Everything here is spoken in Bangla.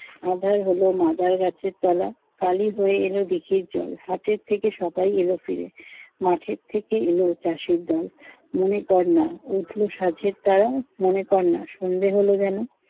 আঁধার হল মাদার গাছের তলা, কালি হয়ে এল দিঘির জল, হাটের থেকে সবাই এল ফিরে, মাঠের থেকে এল চাষির দল। মনে কর না উঠল সাঁঝের তারা, মনে কর না সন্ধ্যে হল যেন।